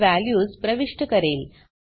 मी values प्रविष्ट करेल